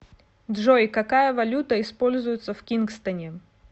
джой какая валюта используется в кингстоне